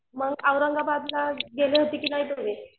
मंग औरंगाबाद ला गेले तुम्ही.